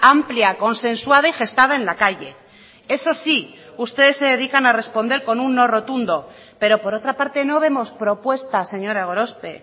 amplia consensuada y gestada en la calle eso sí ustedes se dedican a responder con un no rotundo pero por otra parte no vemos propuestas señora gorospe